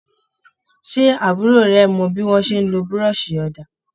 Ṣé àbúrò rẹ̀ mọ bí wọ́n ṣe ń lo buroṣi òdà?